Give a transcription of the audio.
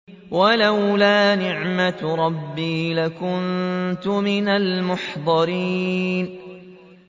وَلَوْلَا نِعْمَةُ رَبِّي لَكُنتُ مِنَ الْمُحْضَرِينَ